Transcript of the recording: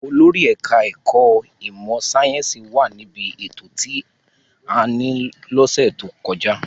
Olórí ẹ̀ka-ẹ̀kọ́ ìmọ̀-sáyẹ́ńsì wà níbí ètò tí a ní lọ́sẹ̀ tó kọjá.